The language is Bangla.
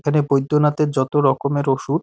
এখানে বৈদ্যনাথের যত রকমের ওষুধ --